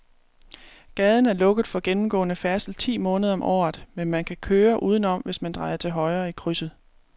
Gaden er lukket for gennemgående færdsel ti måneder om året, men man kan køre udenom, hvis man drejer til højre i krydset.